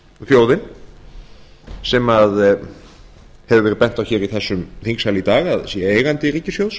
þjóðin sem hefur verið bent á í þessum þingsal í dag að sé eigandi ríkissjóðs